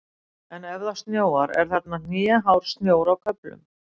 En ef það snjóar er þarna hnéhár snjór á köflum.